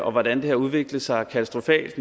og hvordan det har udviklet sig katastrofalt